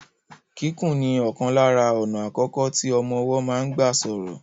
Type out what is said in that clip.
Kíkùn ni ọ̀kan lára àwọn ọ̀nà àkọ́kọ́ tí ọmọ ọwọ́ máa ń gbà sọ̀rọ̀.